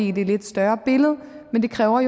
i det lidt større billede men det kræver